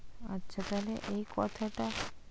আচ্ছা তাহলে এই কথাটা,